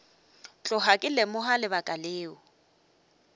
tloga ke lemoga lebaka leo